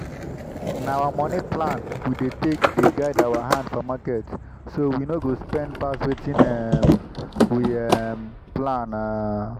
na our moni plan we take take dey guide our hand for market so we no go spend pass wetin um we um plan. um